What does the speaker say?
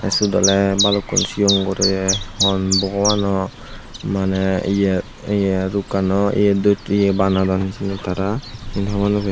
tey siyot oley balukun sigon guroye hon bogobano maneh ye ye rukkano ye do banadon hijeni tara siyen hobor naw pem.